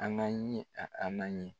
A ŋa ɲi a a na ɲi